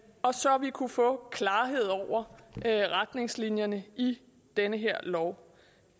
og så vi kunne få klarhed over retningslinjerne i den her lov